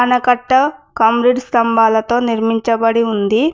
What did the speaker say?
ఆనకట్ట కామ్రేడ్స్ స్తంభాలతో నిర్మించబడి ఉంది.